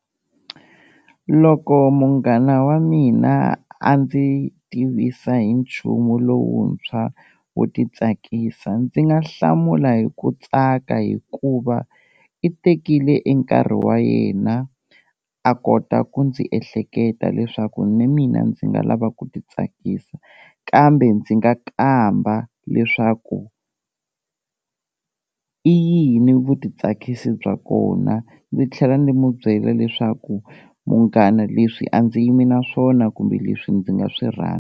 Loko munghana wa mina a ndzi tivisa hi nchumu lowuntshwa wo ti tsakisa, ndzi nga hlamula hi ku tsaka hikuva i tekile e nkarhi wa yena a kota ku ndzi ehleketa leswaku ni mina ndzi nga lava ku ti tsakisa, kambe ndzi nga kamba leswaku i yini vutitsakisi bya kona ndzi tlhela ndzi mu byela leswaku munghana leswi a ndzi yimi na swona kumbe leswi ndzi nga swi rhandza.